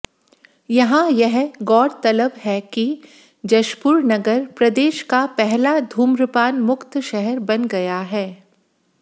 यहां यह गौरतलब है कि जशपुरनगर प्रदेश का पहला धूम्रपान मुक्त शहर बन गया है